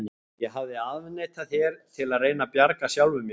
Ég hafði afneitað þér, til að reyna að bjarga sjálfum mér.